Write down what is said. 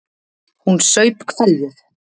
Hún saup hveljur.